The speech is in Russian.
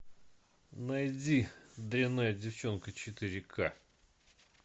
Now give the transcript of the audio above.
найди дрянная девчонка четыре ка